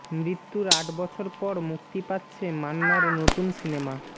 মৃত্যুর আট বছর পর মুক্তি পাচ্ছে মান্নার নতুন সিনেমা